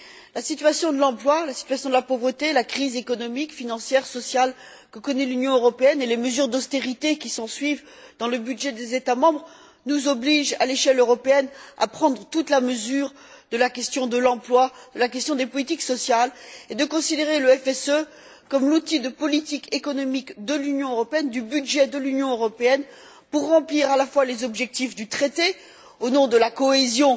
La situation de l'emploi, la situation de la pauvreté, la crise économique, financière, sociale que connaît l'Union européenne et les mesures d'austérité qui s'ensuivent dans le budget des États membres nous obligent, à l'échelle européenne, à prendre toute la mesure de la question de l'emploi, la question des politiques sociales et de considérer le FSE comme l'outil de politique économique de l'Union européenne, du budget de l'Union européenne pour remplir à la fois les objectifs du traité au nom de la cohésion